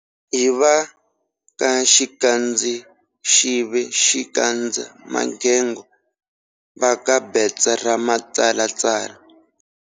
Hi va ka Xikandzaxive xi kandza magego-Va ka betsa ra matsalatsala.